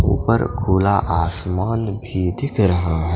ऊपर खुला आसमान भी दिख रहा है ।